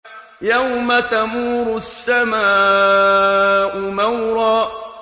يَوْمَ تَمُورُ السَّمَاءُ مَوْرًا